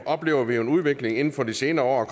oplever vi jo en udvikling inden for de senere år er